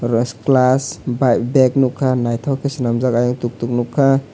was class bike beg nugkha nythok ke swnamjak eiang tuktuk nugkha.